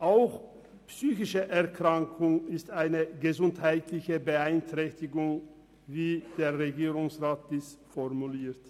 Auch eine psychische Erkrankung ist eine gesundheitliche Beeinträchtigung, wie der Regierungsrat dies formuliert.